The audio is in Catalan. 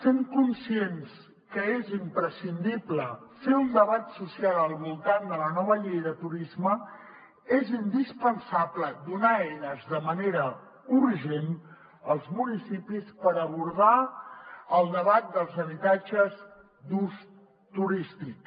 sent conscients que és imprescindible fer un debat social al voltant de la nova llei de turisme és indispensable donar eines de manera urgent als municipis per abordar el debat dels habitatges d’ús turístic